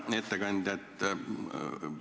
Hea ettekandja!